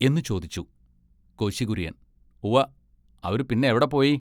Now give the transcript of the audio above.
എന്നു ചോദിച്ചു. കോശികുൎയ്യൻ, “ഉവ്വ അവരു പിന്നെവിടെ പോയി.